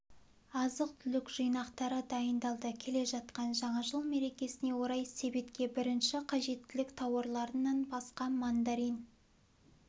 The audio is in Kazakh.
азық-түлік жинақтары дайындалды келе жатқан жаңа жыл мерекесіне орай себетке бірінші қажеттілік тауарларынан басқа мандарин